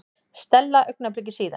Stella augnabliki síðar.